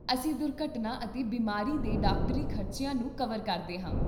ਅਸੀਂ ਦੁਰਘਟਨਾ ਅਤੇ ਬਿਮਾਰੀ ਦੇ ਡਾਕਟਰੀ ਖ਼ਰਚਿਆਂ ਨੂੰ ਕਵਰ ਕਰਦੇ ਹਾਂ